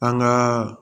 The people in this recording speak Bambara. An ka